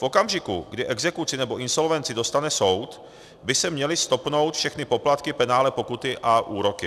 V okamžiku, kdy exekuci nebo insolvenci dostane soud, by se měly stopnout všechny poplatky, penále, pokuty a úroky.